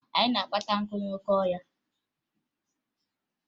Anyị na-akpata nkụ n'oke ọhịa